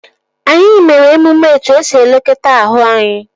Anyị mere omume etu esi elekọta ahụ anyị